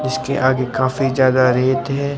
जिसके आगे काफी जगह रेत है।